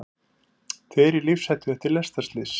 Tveir í lífshættu eftir lestarslys